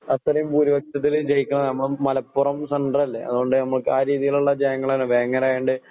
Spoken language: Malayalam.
അത്രയും ഭൂരിപക്ഷത്തിലുജയിക്കാൻ നമ്മള് മലപ്പുറം സെൻട്രല്ലേ അതുകൊണ്ട്‌നമുക്ക് ആഹ് രീതിയിലുള്ള ജയങ്ങളാണ് വേങ്ങണയിണ്ട്